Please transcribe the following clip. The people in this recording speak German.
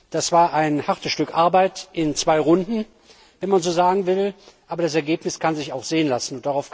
Das war ein hartes Stück Arbeit in zwei Runden wenn man so sagen will aber das Ergebnis kann sich auch sehen lassen.